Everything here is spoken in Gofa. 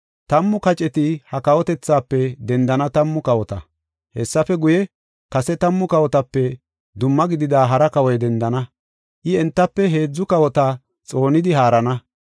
Tammu kaceti ha kawotethaafe dendana tammu kawota. Hessafe guye, kase tammu kawotape dumma gidida hara kawoy dendana. I, entafe heedzu kawota xoonidi haarana.